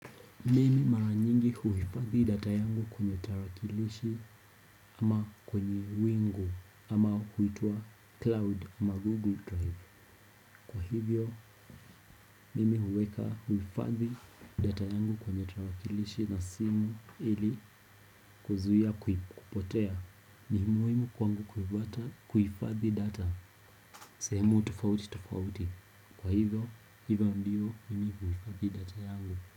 Mimi mara nyingi huhifadhi data yangu kwenye tarakilishi ama kwenye wingu ama huitwa cloud ama google drive. Kwa hivyo, mimi huweka huhifadhi data yangu kwenye tarakilishi na simu ili kuzuia kupotea ni muhimu kwangu kuhifadhi data. Sehemu tofauti tofauti. Kwa hivyo, hivyo ndio mimi huhifadhi data yangu.